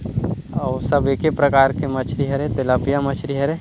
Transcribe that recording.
आऊ सब एके प्रकार के मछरी हरे तेलब्या मछरी हरे--